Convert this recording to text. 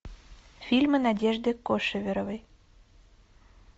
фильмы надежды кошеверовой